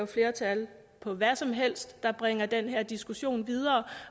flertal for hvad som helst der bringer den her diskussion videre